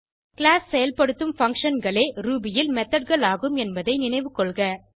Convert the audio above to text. class செயல்படுத்தும் functionகளே Ruby ல் methodகள் ஆகும் என்பதை நினைவுகொள்க